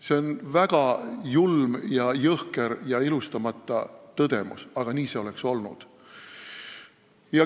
See on väga julm, jõhker ja ilustamata tõdemus, aga nii see oleks olnud.